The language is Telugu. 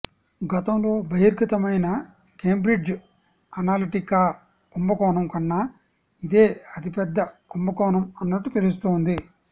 గతంలో బహిర్గతమైన కేంబ్రిడ్జ్ అనలిటికా కుంభకోణం కన్నా ఇదే అతిపెద్ద కుంభకోణం అన్నట్టు తెలుస్తోంది